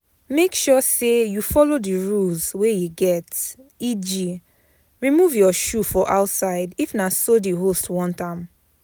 Make sure say you follow the rules wey e get eg. remove your shoe for outside if na so the host want am